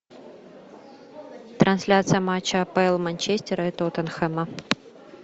трансляция матча апл манчестера и тоттенхэма